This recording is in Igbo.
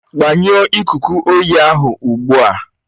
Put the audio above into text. Gbanyụọ ikuku oyi ahụ ugbu a